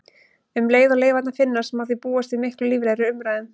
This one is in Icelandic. Um leið og leifarnar finnast má því búast við miklu líflegri umræðum.